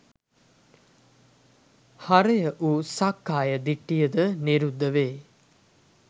හරය වූ සක්කාය දිට්ඨියද නිරුද්ධ වේ.